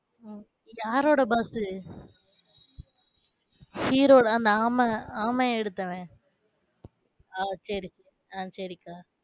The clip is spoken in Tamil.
உம் யாரோட boss உ hero தான் அந்த ஆமை ஆமைய எடுத்தவன். ஓ சரி அஹ் சரிக்கா.